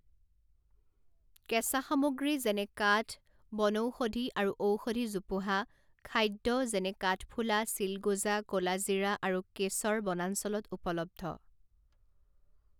কেঁচা সামগ্ৰী যেনে কাঠ, বনৌষধি আৰু ঔষধি জোপোহা, খাদ্য যেনে কাঠফুলা, চিলগোজা, ক'লা জিৰা আৰু কেশৰ বনাঞ্চলত উপলব্ধ।